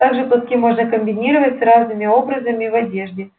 также платки можно комбинировать с разными образами в одежде